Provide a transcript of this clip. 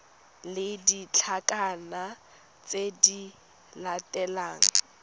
le ditlankana tse di latelang